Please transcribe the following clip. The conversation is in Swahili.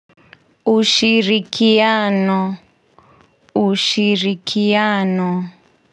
Ushirikiano ushirikiano.